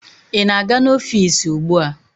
Ị na-aga n'ọfiisi ugbua?